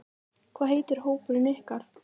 Hvað heitir hópurinn ykkar?